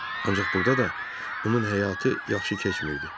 Ancaq burda da onun həyatı yaxşı keçmirdi.